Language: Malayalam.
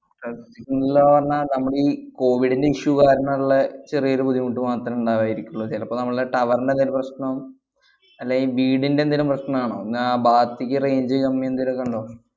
Sir ല്ലാ പറഞ്ഞാ നമ്മടീ കോവിഡിന്‍റെ issue കാരണള്ള ചെറിയൊരു ബുദ്ധിമുട്ടുമാത്രമേ ഉണ്ടായിരിക്കുള്ളൂ. ചെലപ്പോ നമ്മളെ tower ന്‍റെ എന്തേലും പ്രശ്നം അല്ലെങ്കിൽ വീടിന്‍റെ എന്തേലും പ്രശ്‌നം ആണോ? എന്നാ ആ ഭാത്തേക്ക് range കമ്മി എന്തെലൊക്കെയൊണ്ടോ?